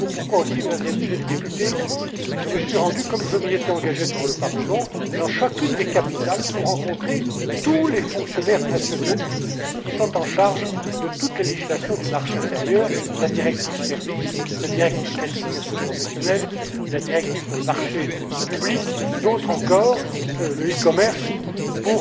Voilà pourquoi aussi, Mesdames et Messieurs les députés, je me suis rendu comme je m'y étais engagé devant le Parlement dans chacune des capitales pour rencontrer tous les fonctionnaires nationaux qui sont en charge de toutes les législations du marché intérieur la directive sur les services, la directive sur les qualifications professionnelles, la directive sur les marchés publics, la directive sur le commerce électronique,